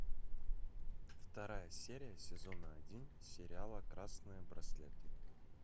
вторая серия сезона один сериала красные браслеты